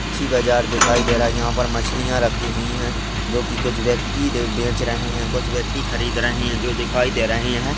मछली बाजार दिखाई दे रहा है यहाँ पर मछलियां रखी हुई है जोकि कुछ व्यक्ति बेच रहे हैं कुछ व्यक्ति खरीद रहे हैं जो दिखाई दे रहे हैं।